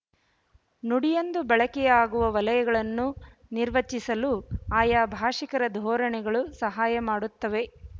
ನುಡಿಯೊಂದು ಬಳಕೆಯಾಗುವ ವಲಯಗಳನ್ನು ನಿರ್ವಚಿಸಲು ಆಯಾ ಭಾಷಿಕರ ಧೋರಣೆಗಳು ಸಹಾಯ ಮಾಡುತ್ತವೆ